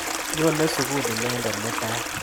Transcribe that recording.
Nyone sukul inendet mutai.